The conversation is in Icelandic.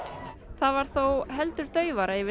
það var þó heldur daufara yfir